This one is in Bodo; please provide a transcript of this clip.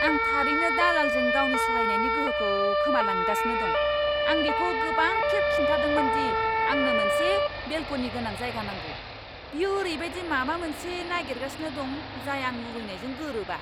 आं थारैनो दालालजों गावनि सहायनायनि गोहोखौ खोमालांगासिनो दं। आं बिखौ गोबां खेब खिन्थादोंमोन दि आंनो मोनसे बेलक'नि गोनां जायगा नांगौ। बियो ओरैबायदि माबा मोनसे नागिरगासिनो दं जाय आं लुबैनायजों गोरोबा।